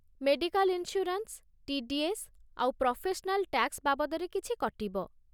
Medical insurance, TDS. ଆଉ professional tax ବାବଦରେ କିଛି କଟିବ ।